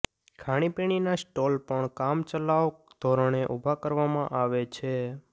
ખાણીપીણીનાં stall પણ કામચલાઉ ધોરણે ઉભા કરવામાં આવે છે